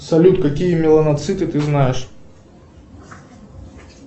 салют какие меланоциты ты знаешь